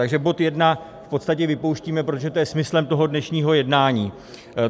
Takže bod I v podstatě vypouštíme, protože to je smyslem toho dnešního jednání.